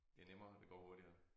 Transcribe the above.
Det nemmere det går hurtigere